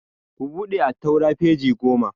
Ku buɗe attaura peji goma!